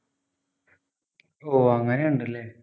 ഓഹ് അങ്ങനെ ഒണ്ടല്ലേ